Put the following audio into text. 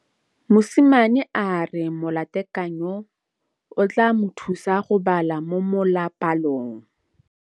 Mosimane a re molatekanyô o tla mo thusa go bala mo molapalong.